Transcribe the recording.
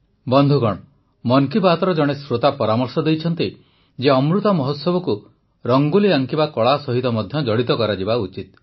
ବନ୍ଧୁଗଣ ମନ୍ କି ବାତ୍ର ଜଣେ ଶ୍ରୋତା ପରାମର୍ଶ ଦେଇଛନ୍ତି ଯେ ଅମୃତ ମହୋତ୍ସବକୁ ରଙ୍ଗୋଲି ଆଙ୍କିବା କଳା ସହିତ ମଧ୍ୟ ଜଡ଼ିତ କରାଯିବା ଉଚିତ